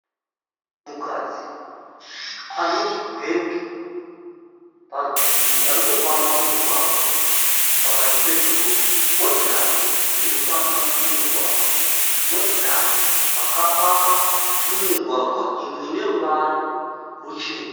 Munhukadzi ane chibhegi parutivi ari kufamba mumugwagwa pakati pedhorobha.. Motikari dziri kufamba mumugwagwa. Motikari dzakapaka mumugwagwa. Imwe ine ruvara ruchena.